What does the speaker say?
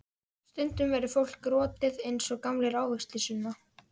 Stundum verður fólk rotið eins og gamlir ávextir, Sunna.